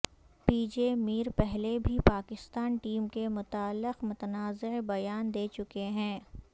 پی J Mir پہلے بھی Pakistan team کے متعلق متنازعہ بیان دے چکے ہیں